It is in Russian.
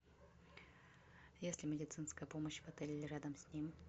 есть ли медицинская помощь в отеле или рядом с ним